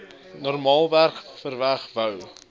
normaalweg verwag wou